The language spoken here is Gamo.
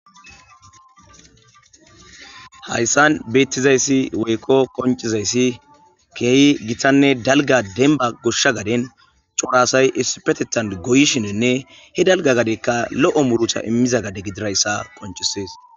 Hayssan bettizaysi woykko qonccizayssi kehi giitanne dalgga dembba goshsha gaaden cora asay issippeteththan goyishshininne he daalga gaadey lo'o muurutta immiza gaade giddidayssa qonccises.